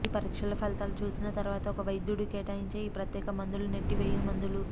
మీ పరీక్షల ఫలితాలు చూసిన తరువాత ఒక వైద్యుడు కేటాయించే ఈ ప్రత్యేక మందులు నెట్టివేయు మందులు